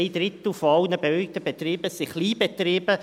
Ein Drittel aller bewilligten Betriebe sind Kleinbetriebe.